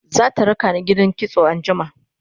zata rakani gidan kitso anjima